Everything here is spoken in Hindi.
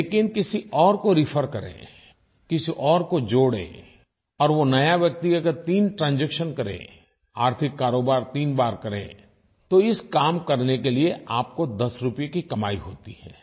लेकिन किसी और को रेफर करें किसी और को जोड़ें और वो नया व्यक्ति अगर तीन ट्रांजैक्शन करे आर्थिक कारोबार तीन बार करे तो इस काम को करने के लिये आपको 10 रुपये की कमाई होती है